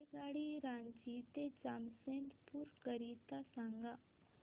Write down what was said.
रेल्वेगाडी रांची ते जमशेदपूर करीता सांगा